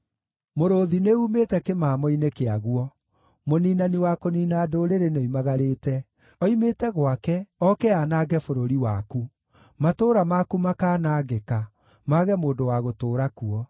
Mũrũũthi nĩumĩte kĩmamo-inĩ kĩaguo; mũniinani wa kũniina ndũrĩrĩ nĩoimagarĩte. Oimĩte gwake oke aanange bũrũri waku. Matũũra maku makaanangĩka, mage mũndũ wa gũtũũra kuo.